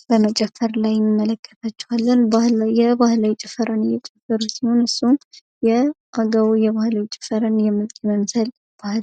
ጠምጥመው ባህላዊ ጭፈራ እየጨፈሩ የሚታዩ ሲሆን ፤ የባህላዊ ጭፈራን እየጨፈሩ ሲሆን ይኸውም የአጋው ማህበረሰቦች ባህላዊ ጭፈራ ነው።